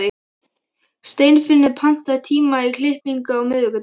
Steinfinnur, pantaðu tíma í klippingu á miðvikudaginn.